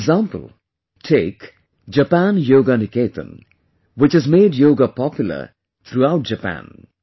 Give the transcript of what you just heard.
For example, take 'Japan Yoga Niketan', which has made Yoga popular throughout Japan